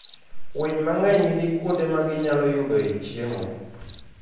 Winy mang'eny nigi kuonde ma ginyalo yudoe chiemo.